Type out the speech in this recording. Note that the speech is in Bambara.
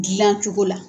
Dilancogo la